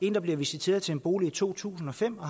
en der blev visiteret til en bolig i to tusind og fem og